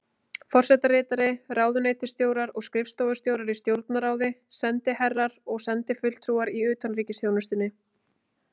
Forsetaritari, ráðuneytisstjórar og skrifstofustjórar í Stjórnarráði, sendiherrar og sendifulltrúar í utanríkisþjónustunni.